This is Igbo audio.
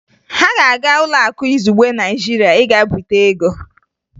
Ha ga-aga Ụlọakụ Izugbe Naịjirịa ịga bute ego